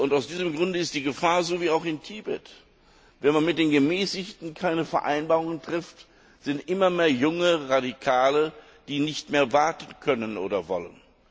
Aus diesem Grunde besteht dieselbe Gefahr wie auch in Tibet Wenn man mit den Gemäßigten keine Vereinbarungen trifft, gibt es immer mehr junge Radikale, die nicht mehr warten können oder wollen.